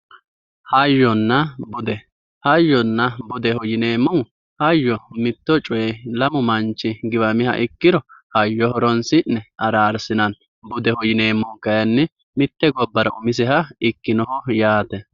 hayyonna budeho yineemmohu hayyo mitto coyee lamu manchi giwamiha ikkiro hayyo horoonsi'ne araarsinanni budeho yineemmohu kayiinni mitte gobbara umiseha ikkinoho yaate